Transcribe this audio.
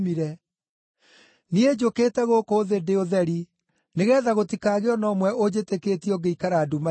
Niĩ njũkĩte gũkũ thĩ ndĩ ũtheri, nĩgeetha gũtikagĩe o na ũmwe ũnjĩtĩkĩtie ũngĩikara nduma-inĩ.